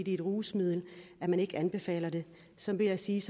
et rusmiddel at man ikke anbefaler det så vil jeg sige